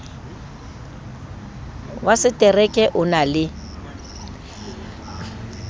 wa setereke o na le